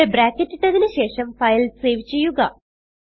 ഇവിടെ ബ്രാക്കറ്റ് ഇട്ടതിന് ശേഷം ഫയൽ സേവ് ചെയ്യുക